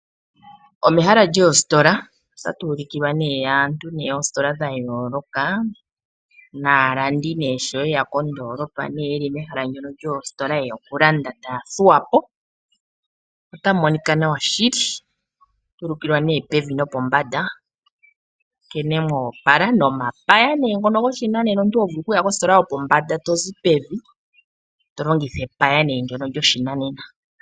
Omehala lyoositola otatu ulikilwa nee aantu moositola dhayooloka naalandi nee sho yeya kondoolopa yeli pehala ndyono lyoositola yeya okulanda taya thuwa po, otamu monika nawa shili, atu ulikilwa nee pevi nopombanda nkene moopala nomapaya nee ngono goshinanena omuntu hovulu kuya kositola yopombanda tozi pevi tolongitha epaya nee ndyono lyoshinanena.